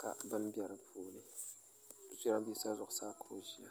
ka bini be di puuni jidambiisa zuɣusaa ka o ʒiya